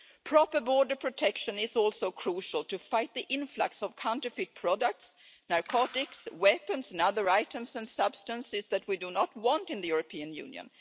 Proper border protection is also crucial to fight the influx of counterfeit products, narcotics, weapons and other items and substances that we do not want in the European Union.